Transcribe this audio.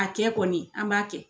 A kɛ kɔni an b'a kɛ